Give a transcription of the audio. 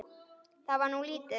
Það var nú lítið.